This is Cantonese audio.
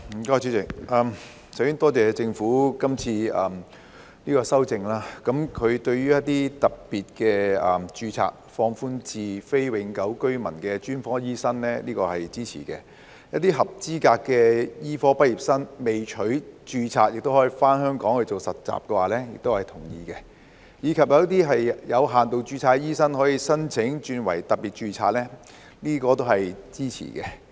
代理主席，首先多謝政府今次的修正案，當局將一些特別註冊放寬至非永久性居民的專科醫生，這我是支持的；一些合資格的醫科畢業生未取註冊亦可以回港實習，這我是同意的；以及有些有限度註冊醫生可以申請轉為特別註冊，這我也是支持的。